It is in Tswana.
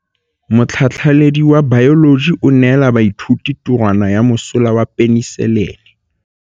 Motlhatlhaledi wa baeloji o neela baithuti tirwana ya mosola wa peniselene.